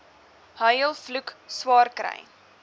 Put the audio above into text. huil vloek swaarkry